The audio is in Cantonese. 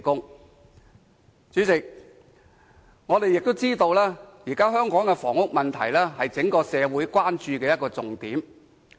代理主席，我們亦知道現時香港的房屋問題，是整個社會關注的重點。